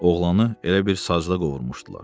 Oğlanı elə bil sacda qovurmuşdular.